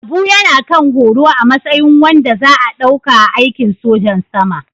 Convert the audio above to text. Abu yana kan horo a matsayin wanda za a ɗauka a aikin sojan sama